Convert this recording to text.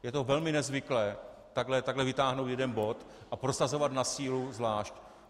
Je to velmi nezvyklé, takhle vytáhnout jeden bod a prosazovat na sílu zvlášť.